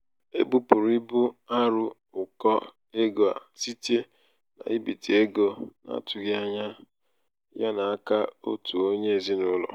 e bupụrụ ịbụ arụ ụkọ ego a site n'ibite ego n'atụghị ányá ya n'aka otu onye n'ezinaụlọ.